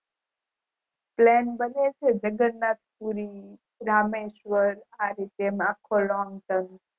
plan બને છે જગન્નાથ પૂરી રામેશ્વર આ રીતે અખો longturn